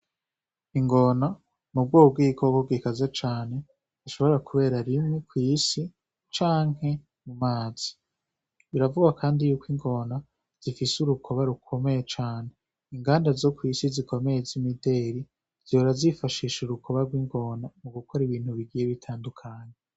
Ingona mu bwobwikobwo gikaza cane ishobora, kubera rimwe kw'isi canke mu mazi biravuwa, kandi yuko ingona zifise urukoba rukomeye cane inganda zo kw'isi zikomeye z'imideri zirora zifashisha urukoba rw'ingona mu gukora ibintu bigiye bitandukanye.